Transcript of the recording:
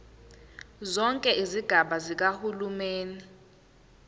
zonke izigaba zikahulumeni